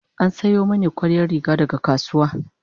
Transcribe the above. an Sayo mani koriyar Riga daga kasuwa